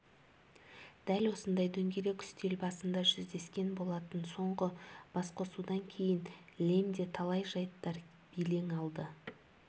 дәл осындай дөңгелек үстел басында жүздескен болатын соңғы басқосудан кейін лемде талай жайттар белең алды